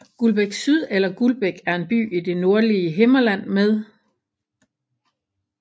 Guldbæk Syd eller Guldbæk er en by i det nordlige Himmerland med